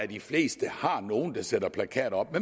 de fleste har nogle der sætter plakater op